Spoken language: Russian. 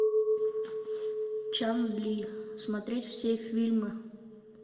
чан ли смотреть все фильмы